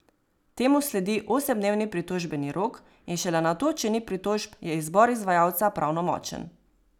Temu sledi osemdnevni pritožbeni rok in šele nato, če ni pritožb, je izbor izvajalca pravnomočen.